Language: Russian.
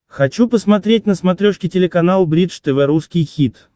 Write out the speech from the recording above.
хочу посмотреть на смотрешке телеканал бридж тв русский хит